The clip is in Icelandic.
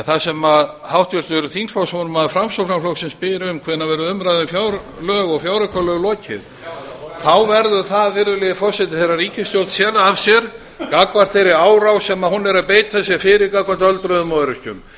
það sem háttvirtur þingflokksformaður framsóknarflokksins spyr um hvenær verður umræðu um fjárlög og fjáraukalög lokið verður það þegar ríkisstjórn sér að sér gagnvart þeirri árás sem hún beitir sér fyrir gagnvart öldruðum og öryrkjum